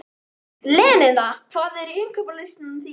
Linnea, hvað er á innkaupalistanum mínum?